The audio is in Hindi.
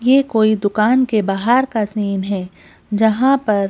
ये कोई दुकान के बाहर का सीन है जहां पर--